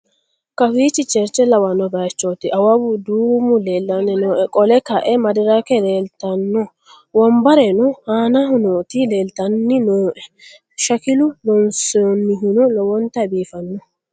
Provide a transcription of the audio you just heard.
kawichi cherche lawanno baychooti awawu duumu lellanni nooe qole kae madirake leeltanno wombarrano aanaho nooti leltanni nooe shakilu loonsoonnihuno lowonta biifanno